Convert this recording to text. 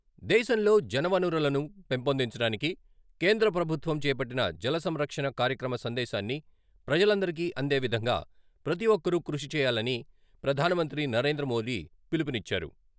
దేశంలో జలవనరులను పెంపొందించడానికి కేంద్రప్రభుత్వం చేపట్టిన జలసంరక్షణ కార్యక్రమ సందేశాన్ని ప్రజలందరికీ అందే విధంగా ప్రతి ఒక్కరూ కృషి చేయాలని ప్రధానమంత్రి నరేంద్రమోదీ పిలుపునిచ్చారు.